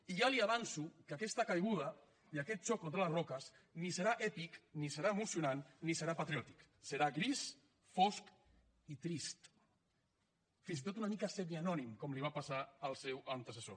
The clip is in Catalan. i ja li avanço que aquesta caiguda i aquest xoc contra les roques ni serà èpic ni serà emocionant ni serà patriòtic serà gris fosc i trist fins i tot una mica semianònim com li va passar al seu antecessor